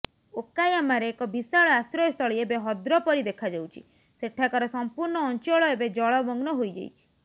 ଓକାୟାମାରେ ଏକ ବିଶାଳ ଆଶ୍ରୟସ୍ଥଳୀ ଏବେ ହଦ୍ରପରି ଦେଖାଯାଉଛି ସେଠାକାର ସଂପୂର୍ଣ୍ଣ ଅଞ୍ଚଳ ଏବେ ଜଳମଗ୍ନ ହୋଇଯାଇଛି